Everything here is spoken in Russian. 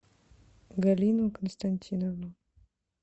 галину константиновну